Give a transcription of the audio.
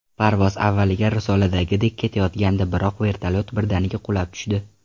Parvoz avvaliga risoladagidek ketayotgandi, biroq vertolyot birdaniga qulab tushdi.